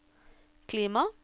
klima